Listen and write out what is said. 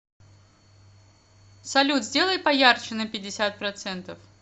салют сделай поярче на пятьдесят процентов